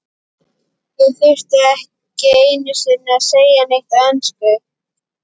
Ég þurfti ekki einu sinni að segja neitt á ensku.